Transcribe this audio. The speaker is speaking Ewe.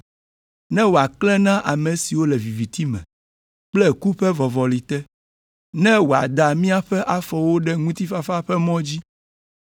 ne wòaklẽ na ame siwo le viviti me kple ku ƒe vɔvɔli te, ne wòada míaƒe afɔwo ɖe ŋutifafa ƒe mɔ dzi.”